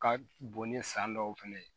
Ka bon ni san dɔw fɛnɛ ye